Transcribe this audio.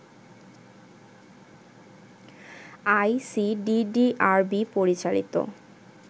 ICDDRB পরিচালিত